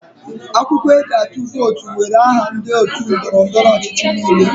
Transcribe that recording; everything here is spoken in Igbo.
Akwụkwọ eji atụ vootu nwere aha ndị otu ndọrọ ndọrọ ọchịchị niile.